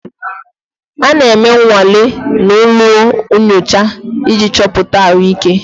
A na-eme nnwale na ụlọ nyocha iji chọpụta ahụike.